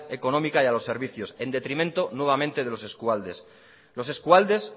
económica y a los servicios en detrimento nuevamente de los eskualdes los eskualdes